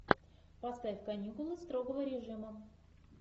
поставь каникулы строгого режима